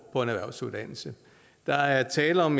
på en erhvervsuddannelse der er tale om